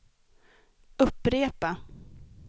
upprepa